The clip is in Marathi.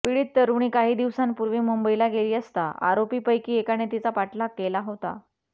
पीडित तरुणी काही दिवसांपूर्वी मुंबईला गेली असता आरोपीपैकी एकाने तिचा पाठलाग केला होता